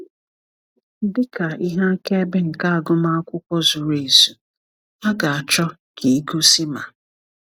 Dị ka ihe akaebe nke agụmakwụkwọ zuru ezu, a ga-achọ ka ị gosi ma: